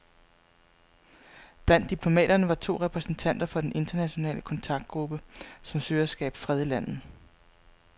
Blandt diplomaterne var to repræsentanter fra den internationale kontaktgruppe, som søger at skabe fred i landet.